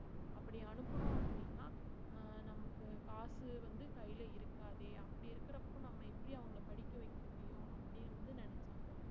அப்படி அனுப்பனும் அப்படின்னா அஹ் நமக்கு காசு வந்து கையில இருக்காதே அப்படி இருக்கறப்ப நம்ம எப்படி அவங்களை படிக்க வைக்க முடியும் அப்படின்னு வந்து நினைச்சாங்க